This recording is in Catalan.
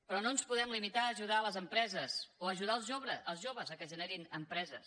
però no ens podem limitar a ajudar les empreses o a ajudar els joves que generin empreses